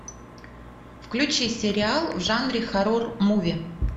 включи сериал в жанре хоррор муви